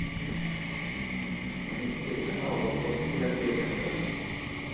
найди телеканал вопросы и ответы на тв